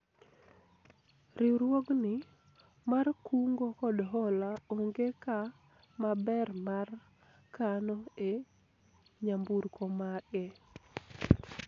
riwruogni mar kungo kod hola onge ka maber mar kano e nyamburko mage